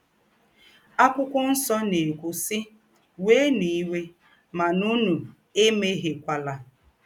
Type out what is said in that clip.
Àkwụ́kwọ́ Nsọ na - èkwú, sì: “ Wēēnụ̀ íwé, mà ǔnù èméhíèkwàlà. ”